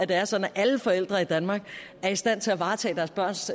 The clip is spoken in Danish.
det er sådan at alle forældre i danmark er i stand til at varetage deres børns